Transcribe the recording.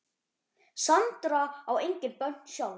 Sandra á engin börn sjálf.